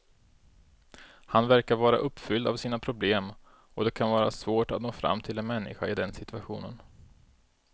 Han verkar vara uppfylld av sina problem och det kan vara svårt att nå fram till en människa i den situationen.